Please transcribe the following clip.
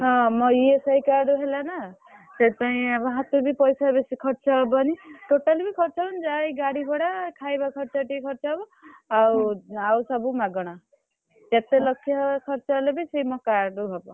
ହଁ ମୋ ESI card ରେ ହେଲା ନା ସେଇଥିପାଇଁ ହାତରୁ ବି ପଇସା ବେଶୀ ଖର୍ଚ୍ଚ ହବନି totally ବି ଖର୍ଚ୍ଚ ହବନି ଯାହା ଏଇ ଗାଡି ଭଡା ଖାଇବା ଖର୍ଚ୍ଚ ଯେତିକି ଖର୍ଚ୍ଚ ହବ ଆଉ ଆଉ ସବୁ ମାଗଣା ଯେତେ ଲକ୍ଷ ଖର୍ଚ୍ଚ ହେଲେ ବି ସେଇ ମୋ card ରୁ ହବ।